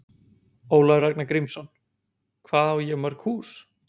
Ólafur Ragnar Grímsson: Hvað á ég mörg hús?